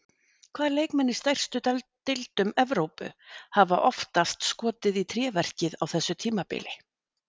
Hvaða leikmenn í stærstu deildum Evrópu hafa oftast skotið í tréverkið á þessu tímabili?